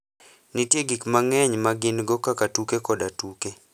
Nitie gik mang'eny ma gin go kaka tuke koda tuke.